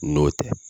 N'o tɛ